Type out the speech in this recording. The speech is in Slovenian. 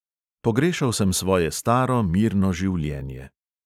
Pogrešal sem svoje staro, mirno življenje.